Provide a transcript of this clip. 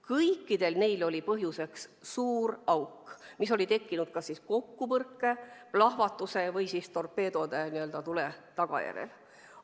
Kõikidel neil oli uppumise põhjuseks suur auk, mis oli tekkinud kas kokkupõrke, plahvatuse või torpeedode tagajärjel.